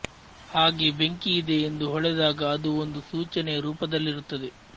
ಹಾಗೆ ಬೆಂಕಿ ಇದೆ ಎಂದು ಹೊಳೆದಾಗ ಅದು ಒಂದು ಸೂಚನೆಯ ರೂಪದಲ್ಲಿರುತ್ತದೆ